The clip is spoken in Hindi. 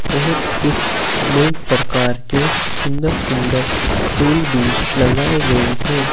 और कुछ अनेक प्रकार के सुंदर सुंदर फूल भी लगाए गए हैं।